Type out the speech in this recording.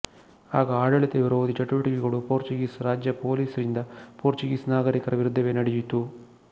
ಆಗ ಆಡಳಿತ ವಿರೋಧಿ ಚಟುವಟಿಕೆಗಳು ಪೊರ್ಚ್ ಗೀಸ್ ರಾಜ್ಯ ಪೊಲೀಸ್ ರಿಂದ ಪೊರ್ಚ್ ಗೀಸ್ ನಾಗರಿಕರ ವಿರುದ್ದವೇ ನಡೆಯಿತು